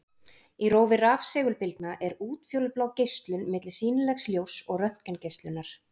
Í rófi rafsegulbylgna er útfjólublá geislun milli sýnilegs ljóss og röntgengeislunar.